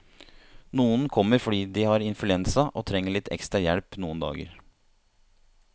Noen kommer fordi de har influensa og trenger litt ekstra hjelp noen dager.